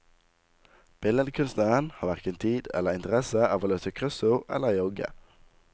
Billedkunstneren har hverken tid eller interesse av å løse kryssord eller jogge.